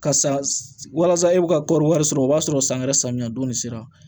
Ka san walasa e bɛ ka kɔɔri wari sɔrɔ o b'a sɔrɔ san wɛrɛ samiyɛ don sera